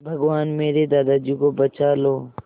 भगवान मेरे दादाजी को बचा लो